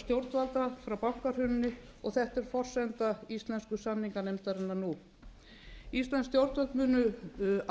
stjórnvalda frá bankahruninu og þetta er forsenda íslensku samninganefndarinnar nú íslensk stjórnvöld munu